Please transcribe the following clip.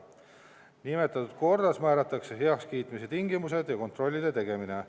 Nimetatud korras määratakse heakskiitmise tingimused ja kontrollide tegemine.